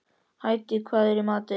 Hædý, hvað er í matinn?